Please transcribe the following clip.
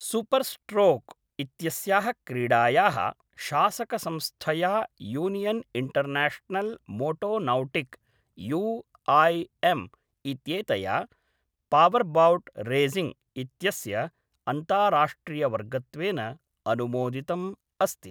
Super stroke इत्यस्याः क्रीडायाः शासकसंस्थया यूनियन् इण्टर्नेश्नल् मोटोनौटिक् यूआईएम् इत्येतया पावरबोट् रेसिङ्ग् इत्यस्य अन्ताराष्ट्रियवर्गत्वेन अनुमोदितम् अस्ति।